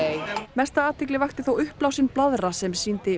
mesta athygli vakti þó uppblásinn blaðra sem sýndi